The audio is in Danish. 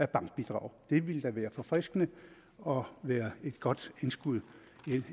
bankbidrag det ville da være forfriskende og et godt